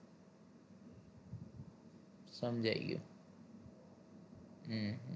સમજાય ગયું હમ